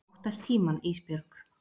Ég óttast tímann Ísbjörg.